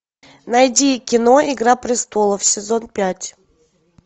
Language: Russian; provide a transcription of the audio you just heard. найди кино игра престолов сезон пять